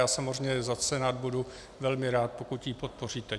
Já samozřejmě za Senát budu velmi rád, pokud ji podpoříte.